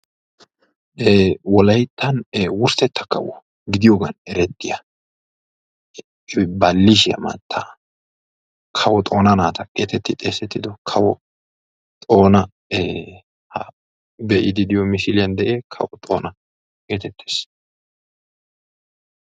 Eee wolayttan kawo gidiyogan erettiyaa baalishiyaa mattaa getettidi xeesettiyaa xoona ee ha be'idi de'iyo misiliyan beettiyage kawo xoona geeteettees.